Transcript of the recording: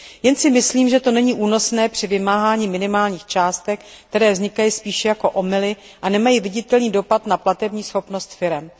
Jen si myslím, že to není únosné při vymáhání minimálních částek, které vznikají spíše jako omyly a nemají viditelný dopad na platební schopnost firem.